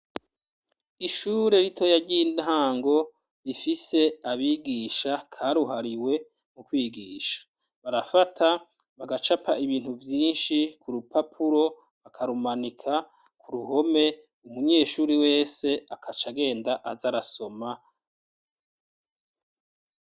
Ishure ritoya ry'intango rifise abigisha karuhariwe mu kwigisha barafata bagacapa ibintu byinshi ku rupapuro bakarumanika ku ruhome umunyeshuri wese akaca genda aza arasoma.